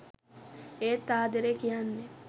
ඒත් ආදරේ කියන්නේ .